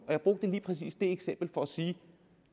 jeg brugte lige præcis det eksempel for at sige at